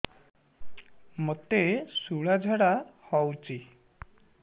ମୋତେ ଶୂଳା ଝାଡ଼ା ହଉଚି